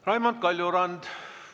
Raimond Kaljurand.